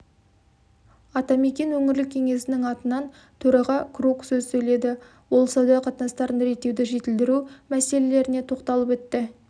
атамекен өңірлік кеңесінің атынан төраға крук сөз сөйледі ол сауда қатынастарын реттеуді жетілдіру мәселелеріне тоқталып өтті